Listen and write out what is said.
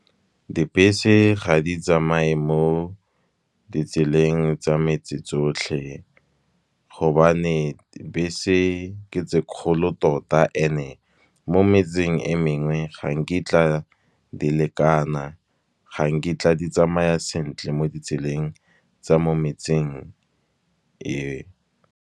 Dbese ga di tsamaye mo ditseleng tsa metse tsotlhe, gobane bese ke tse kgolo tota and-e, mo metseng e mengwe ga nkitla di lekana, ga nkitla di tsamaya sentle mo ditseleng tsa mo metseng e.